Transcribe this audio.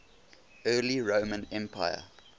early roman empire